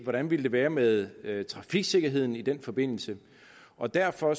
hvordan ville det være med med trafiksikkerheden i den forbindelse og derfor